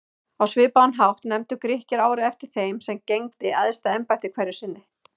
Á svipaðan hátt nefndu Grikkir árið eftir þeim sem gegndi æðsta embætti hverju sinni.